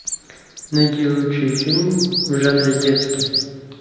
найди лучший фильм в жанре детский